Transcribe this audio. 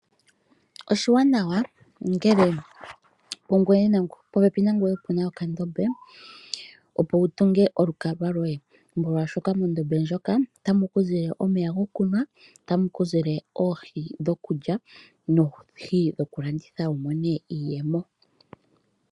Oshiwanawa ngele pungweye nenge popepi nangweye opuna okandombe opo wu tunge olukalwa lwoye molwashoka mondobe ndjoka otamu ku zile omeya gokunwa, otamu ku zile oohi dhokulya noohi wu dhokulanditha wu mone iiyemo.